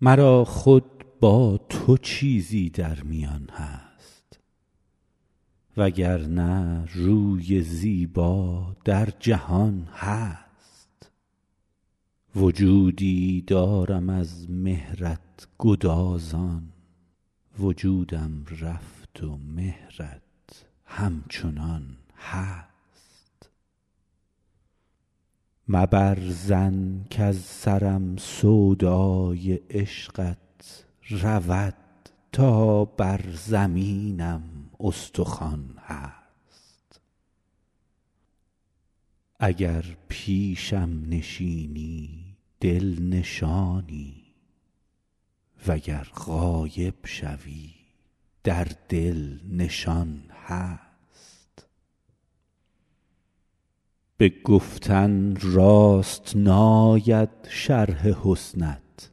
مرا خود با تو چیزی در میان هست و گر نه روی زیبا در جهان هست وجودی دارم از مهرت گدازان وجودم رفت و مهرت همچنان هست مبر ظن کز سرم سودای عشقت رود تا بر زمینم استخوان هست اگر پیشم نشینی دل نشانی و گر غایب شوی در دل نشان هست به گفتن راست ناید شرح حسنت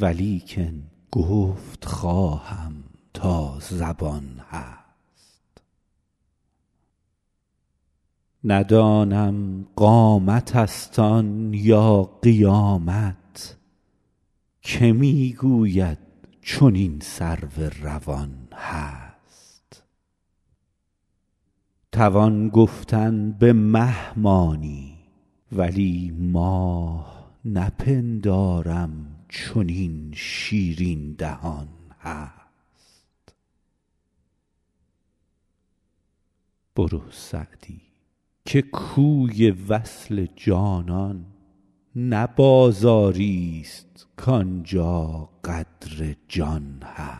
ولیکن گفت خواهم تا زبان هست ندانم قامتست آن یا قیامت که می گوید چنین سرو روان هست توان گفتن به مه مانی ولی ماه نپندارم چنین شیرین دهان هست بجز پیشت نخواهم سر نهادن اگر بالین نباشد آستان هست برو سعدی که کوی وصل جانان نه بازاریست کان جا قدر جان هست